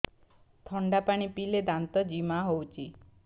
ଥଣ୍ଡା ପାଣି ପିଇଲେ ଦାନ୍ତ ଜିମା ହଉଚି